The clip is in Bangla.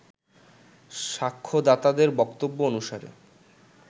সাক্ষ্যদাতাদের বক্তব্য অনুসারে